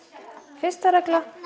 fyrsta regla